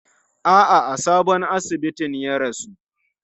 A'a, a sabon asibitin ya rasu.